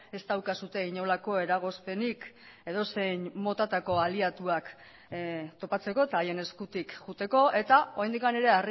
ez daukazue inolako eragozpenik edozein motatako aliatuak topatzeko eta haien eskutik joateko eta oraindik ere